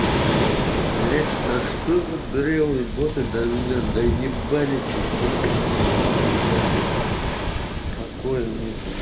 блядь да что за дырявые боты до меня доебались и всё смотрю блядь заебали блин покоя нет